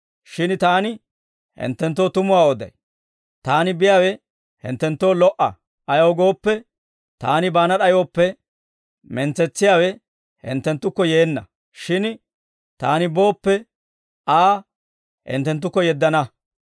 Shin Taani hinttenttoo tumuwaa oday; Taani biyaawe hinttenttoo lo"a. Ayaw gooppe, Taani baana d'ayooppe, mentsetsiyaawe hinttenttukko yeenna; shin Taani booppe, Aa hinttenttukko yeddana.